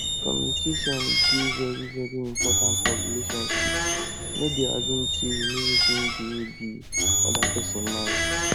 communication dey very very important for relationship no dey assume sey you know wetin dey di oda person mind